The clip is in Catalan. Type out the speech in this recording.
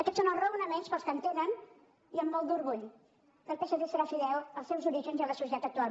aquests són els raonaments pels quals entenen i amb molt d’orgull que el psc serà fidel als seus orígens i a la societat actual